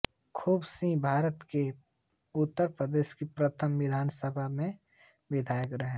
खूब सिंहभारत के उत्तर प्रदेश की प्रथम विधानसभा सभा में विधायक रहे